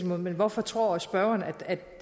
men hvorfor tror spørgeren at